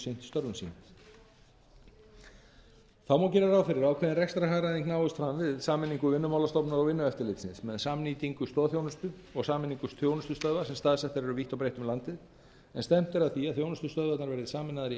störfum sínum þá má gera ráð fyrir að ákveðin rekstrarhagræðing náist fram við sameiningu vinnumálastofnunar og vinnueftirlitsins með samnýtingu stoðþjónustu og sameiningu þjónustustöðva sem staðsettar eru vítt og breitt um landið en stefnt er að því að þjónustustöðvarnar verði sameinaðar í